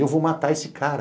Eu vou matar esse cara.